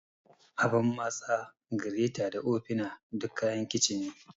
Abun matsa, gireta da ofina duk kayan kicin ne.